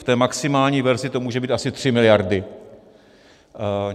V té maximální verzi to může být asi 3 miliardy.